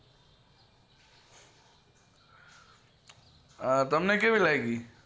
તમને કેવી લાગી